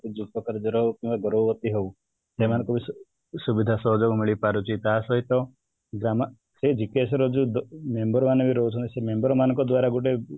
ସେମାନେ ସବୁ ସୁବିଧା ସହଯୋଗ ମିଳିପାରୁଛି ତାସହିତ ଗ୍ରାମ ର ଏଇ GKS ର ଯୋଉ member ମାନେ ବି ରହୁଛନ୍ତି ସେ member ମାନଙ୍କ ଦ୍ୱାରା ଗୋଟେ